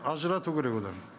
ажырату керек одан